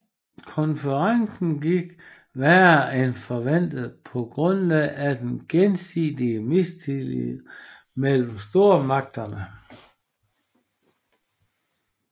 Konferencen gik værre end forventet på grund af den gensidige mistillid mellem stormagterne